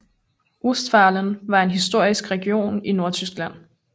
Ostfalen var en historisk region i Nordtyskland